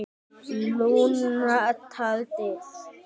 Lúna talaði